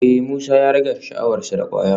Eh Musa ya rage sha'awar sa da kwaya